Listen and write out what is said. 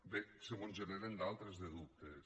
bé se mos en generen d’altres de dubtes